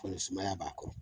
Fo ni sumaya b'a kɔnɔ